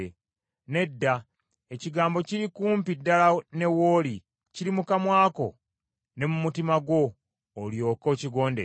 Nedda, ekigambo kiri kumpi ddala ne w’oli, kiri mu kamwa ko ne mu mutima gwo, olyoke okigondere.